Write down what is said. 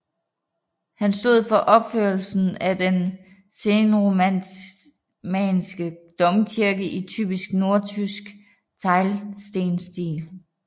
Han stod for opførelsen af den senromanske domkirke i typisk nordtysk teglstensstil